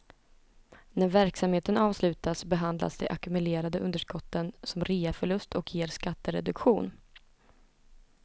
När verksamheten avslutas behandlas de ackumulerade underskotten som reaförlust och ger skattereduktion.